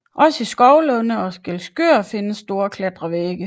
Også i Skovlunde og Skælskør findes store klatrevægge